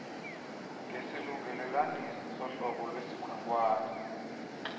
ngesilungelelanisi sohlobo lwesikhonkwane